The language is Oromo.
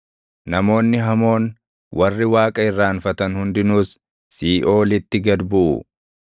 Namoonni hamoon, warri Waaqa irraanfatan hundinuus siiʼoolitti gad buʼu.